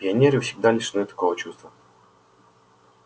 пионеры всегда лишены такого чувства